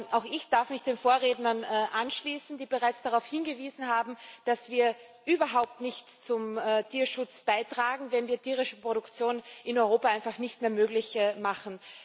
Auch ich darf mich den Vorrednern anschließen, die bereits darauf hingewiesen haben, dass wir überhaupt nichts zum Tierschutz beitragen, wenn wir tierische Produktion in Europa einfach nicht mehr möglich machen.